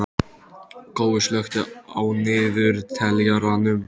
Gói, slökktu á niðurteljaranum.